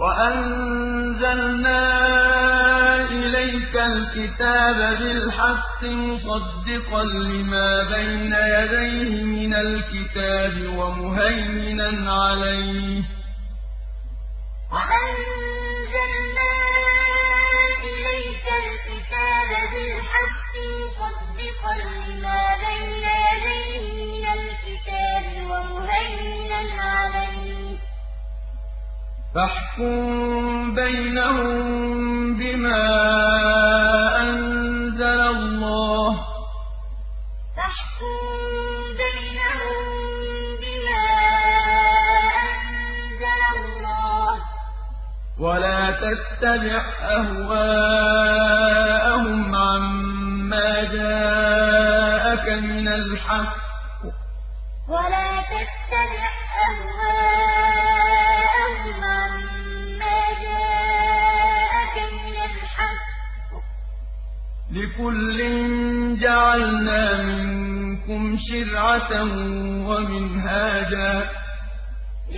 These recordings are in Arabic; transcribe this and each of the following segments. وَأَنزَلْنَا إِلَيْكَ الْكِتَابَ بِالْحَقِّ مُصَدِّقًا لِّمَا بَيْنَ يَدَيْهِ مِنَ الْكِتَابِ وَمُهَيْمِنًا عَلَيْهِ ۖ فَاحْكُم بَيْنَهُم بِمَا أَنزَلَ اللَّهُ ۖ وَلَا تَتَّبِعْ أَهْوَاءَهُمْ عَمَّا جَاءَكَ مِنَ الْحَقِّ ۚ لِكُلٍّ جَعَلْنَا مِنكُمْ شِرْعَةً وَمِنْهَاجًا ۚ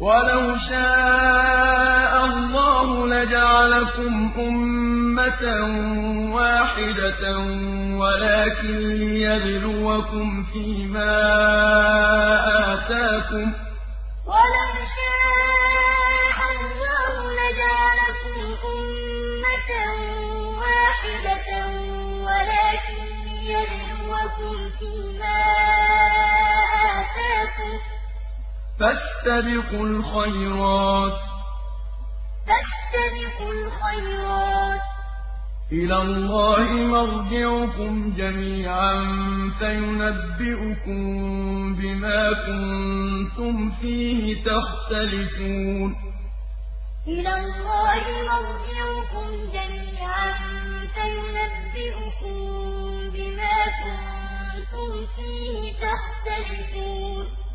وَلَوْ شَاءَ اللَّهُ لَجَعَلَكُمْ أُمَّةً وَاحِدَةً وَلَٰكِن لِّيَبْلُوَكُمْ فِي مَا آتَاكُمْ ۖ فَاسْتَبِقُوا الْخَيْرَاتِ ۚ إِلَى اللَّهِ مَرْجِعُكُمْ جَمِيعًا فَيُنَبِّئُكُم بِمَا كُنتُمْ فِيهِ تَخْتَلِفُونَ وَأَنزَلْنَا إِلَيْكَ الْكِتَابَ بِالْحَقِّ مُصَدِّقًا لِّمَا بَيْنَ يَدَيْهِ مِنَ الْكِتَابِ وَمُهَيْمِنًا عَلَيْهِ ۖ فَاحْكُم بَيْنَهُم بِمَا أَنزَلَ اللَّهُ ۖ وَلَا تَتَّبِعْ أَهْوَاءَهُمْ عَمَّا جَاءَكَ مِنَ الْحَقِّ ۚ لِكُلٍّ جَعَلْنَا مِنكُمْ شِرْعَةً وَمِنْهَاجًا ۚ وَلَوْ شَاءَ اللَّهُ لَجَعَلَكُمْ أُمَّةً وَاحِدَةً وَلَٰكِن لِّيَبْلُوَكُمْ فِي مَا آتَاكُمْ ۖ فَاسْتَبِقُوا الْخَيْرَاتِ ۚ إِلَى اللَّهِ مَرْجِعُكُمْ جَمِيعًا فَيُنَبِّئُكُم بِمَا كُنتُمْ فِيهِ تَخْتَلِفُونَ